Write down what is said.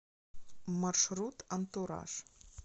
маршрут антураж